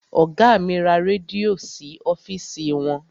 Ọgá mi ra rẹ́díò sí ọ́fìsì wọn.